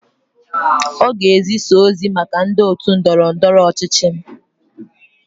Ọ ga-ezisa ozi maka ndị otu ndọrọ ndọrọ ọchịchị m.